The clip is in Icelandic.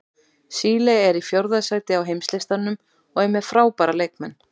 Síle er í fjórða sæti á heimslistanum og er með frábæra leikmenn.